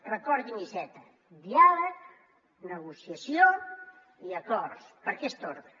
recordin iceta diàleg negociació i acords per aquest ordre